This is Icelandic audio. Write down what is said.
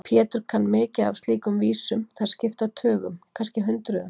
Pétur kann mikið af slíkum vísum, þær skipta tugum, kannski hundruðum.